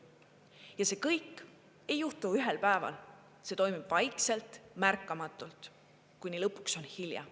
Ja see kõik ei juhtu ühel päeval, see toimub vaikselt, märkamatult, kuni lõpuks on hilja.